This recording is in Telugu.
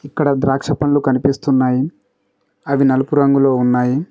ఇక్కడ ద్రాక్ష పండ్లు కనిపిస్తున్నాయి అవి నలుపు రంగులో ఉన్నాయి.